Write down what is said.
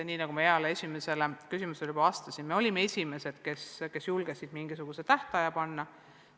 Nii nagu ma heale esimesele küsijale juba vastasin, olime me esimesed, kes julgesid mingisuguse tähtaja paika panna.